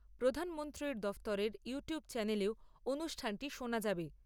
প্রধানমন্ত্রীর দফতরের ইউটিউব চ্যানেলেও অনুষ্ঠানটি শোনা যাবে।